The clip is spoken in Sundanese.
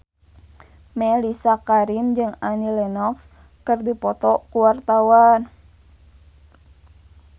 Mellisa Karim jeung Annie Lenox keur dipoto ku wartawan